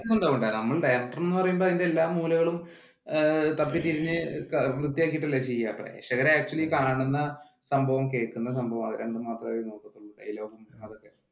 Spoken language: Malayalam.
ഉണ്ടാകും ഉണ്ടാകും director എന്ന് പറയുമ്പോൾ അതിന്റെ എല്ലാ മൂലകളും തപ്പി തിരിഞ്ഞു വൃത്തിയായിട്ട് അല്ലെ ചെയ്യുന്നേ പ്രേഷകർ actually കാണുന്ന കാണുന്ന സംഭവം കേൾക്കുന്ന സംഭവം അതു രണ്ടും മാത്രവേ അവര് നോക്കത്തോളു dilog അതൊക്കെ